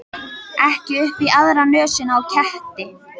Ekki upp í aðra nösina á ketti.